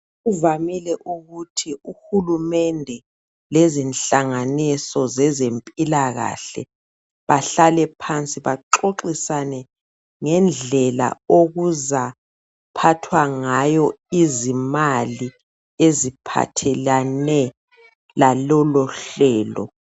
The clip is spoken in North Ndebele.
Kuvamile ukuthi uhulumende lezinhlanganiso zezempilakahle bahlale phansi baxoxisane ngendlela okuzaphathwa ngayo izimali eziphathelane laloluhlelo.